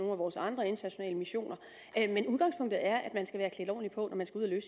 af vores andre internationale missioner men udgangspunktet er at man skal være klædt ordentligt på når man skal ud at